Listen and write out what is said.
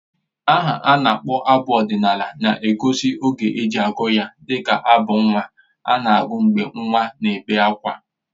Aha a na-akpọ abụ ọdịnala na-egosi oge e ji agụ ya dịka abụ nnwa a na-agụ mgbe nwa n'ebé ákwá